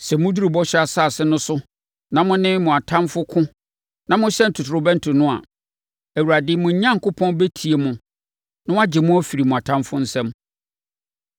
Sɛ moduru Bɔhyɛ Asase no so na mo ne mo atamfoɔ ko na mohyɛn ntotorobɛnto no a, Awurade, mo Onyankopɔn bɛtie mo na wagye mo afiri mo atamfoɔ nsam.